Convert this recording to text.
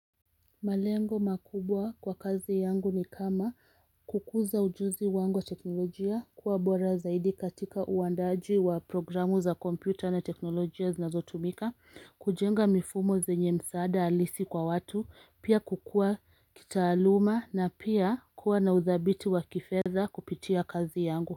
Malengo makubwa kwa kazi yangu ni kama kukuza ujuzi wangu wa teknolojia kuwa bora zaidi katika uandaaji wa programu za computer na teknolojia zinazotumika, kujenga mifumo zenye msaada halisi kwa watu, pia kukua kitaaluma na pia kuwa na udhabiti wa kifedha kupitia kazi yangu.